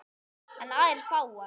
En aðeins fáar.